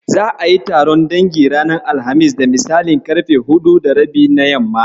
Za'a yi taron dangin ranar Alhamis da misalin ƙarfe huɗu da rabi na yamma.